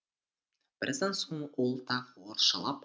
біраздан соң ол тағы орысшалап